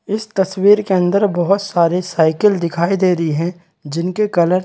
इस तस्वीर के अंदर बहुत सारी साइकिल दिखाई दे रही है जिनके कलर --